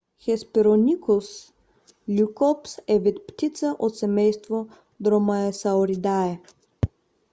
hesperonychus leucops е вид птица от семейство dromaeosauridae